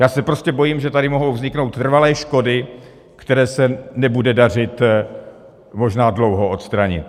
Já se prostě bojím, že tady mohou vzniknout trvalé škody, které se nebude dařit možná dlouho odstranit.